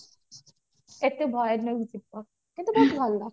ଏତେ ଭୟାନକ ଜୀବ କିନ୍ତୁ ବହୁତ ଭଲ